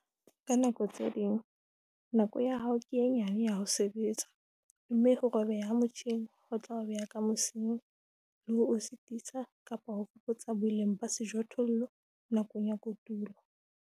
Ka nako tse ding, nako ya hao ke e nyane ya ho sebetsa, mme ho robeha ha motjhine ho tla o beha ka mosing, le ho o sitisa kapa ho fokotsa boleng ba sejothollo nakong ya kotulo.